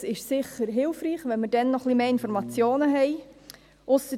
Dies ist sicher hilfreich, wenn wir dann noch mehr Informationen haben.